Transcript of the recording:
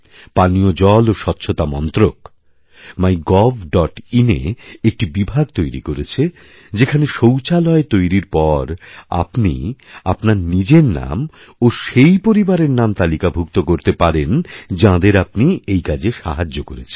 পানীয় জল ওস্বচ্ছতা মন্ত্রক mygovin এ একটি বিভাগ তৈরি করেছে যেখানে শৌচালয় তৈরির পর আপনিআপনার নিজের নাম ও সেই পরিবারের নাম তালিকাভুক্ত করতে পারেন যাঁদের আপনি এই কাজেসাহায্য করেছেন